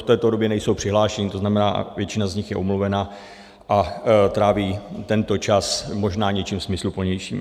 v této době nejsou přihlášení, to znamená, většina z nich je omluvena a tráví tento čas možná něčím smysluplnějším.